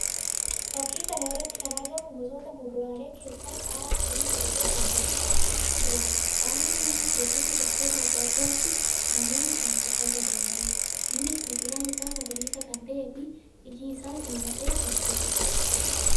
Fakkii kana irratti kan argamu gosoota muduraalee keessaa qaaraa firii godhatee dhaabbachaa jiruudha. Qaaraan nyaata keessatti bakkoota addaa addaatti namoonni kan itti fayyadamaniidha. Innis biqilaan isaa magariisa kan ta'ee fi iji isaa diimatee kan jiruudha.